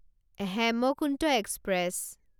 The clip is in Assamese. হেমকুন্ত এক্সপ্ৰেছ